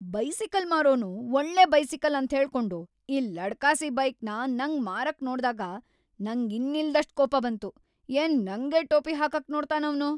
Bicycle ಮಾರೋನು ಒಳ್ಳೆ bicycle ಅಂತ್ಹೇಳ್ಕೊಂಡು ಈ ಲಡ್ಕಾಸಿ ಬೈಕ್‌ನ ನಂಗ್ ಮಾರಕ್‌ ನೋಡ್ದಾಗ ನಂಗ್‌ ಇನ್ನಿಲ್ದಷ್ಟ್‌ ಕೋಪ ಬಂತು, ಏನ್‌ ನಂಗೇ ಟೋಪಿ ಹಾಕಕ್‌ ನೋಡ್ತಾನ್‌ ಅವ್ನು!